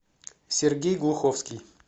сергей глуховский